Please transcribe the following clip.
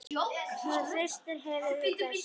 Hún hristir höfuðið og dæsir.